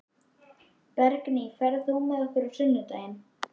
Bergný, ferð þú með okkur á sunnudaginn?